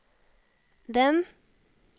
den